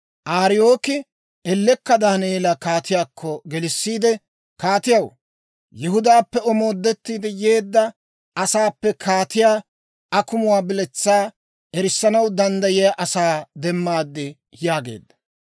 Ariyooki ellekka Daaneela kaatiyaakko gelissiide, kaatiyaw, «Yihudaappe omoodettiide yeedda asaappe kaatiyaa akumuwaa biletsaa erissanaw danddayiyaa asaa demmaad» yaageedda.